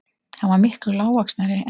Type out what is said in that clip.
Hann var miklu lágvaxnari en